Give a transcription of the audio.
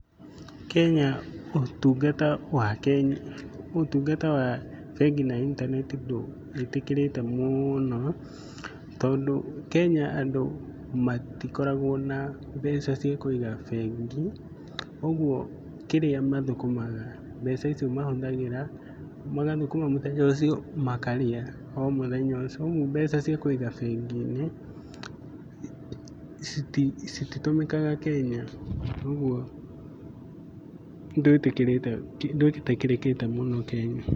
Kenya ũtungata wa, ũtungata wa bengi na intaneti ndũĩtĩkĩrĩte mũno, tondũ kenya andũ matikoragwo na mbeca cia kũiga bengi. Ũguo kĩrĩa mathũkũmaga mbeca icio mahũthiraga, magathũkũma muthenya ũcio, makarĩa o mũthenya ũcio. Ũguo mbeca cia kũiga bengi-ini cititũmĩkaga Kenya. Ũguo ndũĩtĩkĩrĩkĩte mũno Kenya.